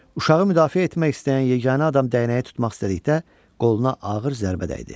Uşağı müdafiə etmək istəyən yeganə adam dəyənəyi tutmaq istədikdə qoluna ağır zərbə dəydi.